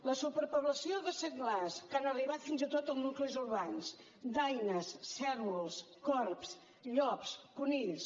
la superpoblació de senglars que han arribat fins i tot a nuclis urbans daines cérvols corbs llops conills